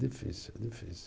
Difícil, difícil.